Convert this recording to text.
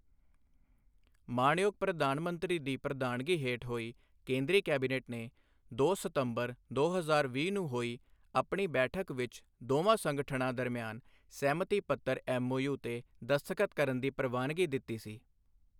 ਮਾਨਯੋਗ ਪ੍ਰਧਾਨ ਮੰਤਰੀ ਦੀ ਪ੍ਰਧਾਨਗੀ ਹੇਠ ਹੋਈ ਕੇਂਦਰੀ ਕੈਬਨਿਟ ਨੇ ਦੋ ਸਤੰਬਰ, ਦੋ ਹਜ਼ਾਰ ਵੀਹ ਨੂੰ ਹੋਈ ਆਪਣੀ ਬੈਠਕ ਵਿੱਚ ਦੋਵਾਂ ਸੰਗਠਨਾਂ ਦਰਮਿਆਨ ਸਹਿਮਤੀ ਪੱਤਰ ਐੱਮਓਯੂ ਤੇ ਦਸਤਖਤ ਕਰਨ ਦੀ ਪ੍ਰਵਾਨਗੀ ਦਿੱਤੀ ਸੀ।